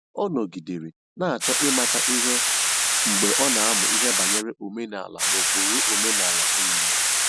Ọ nọgidere na-achọ ịmata ihe mgbe ọ na-amụ ihe banyere omenala na ụkpụrụ omenala enyi ya